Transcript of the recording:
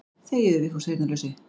Þegiðu Vigfús heyrnarlausi.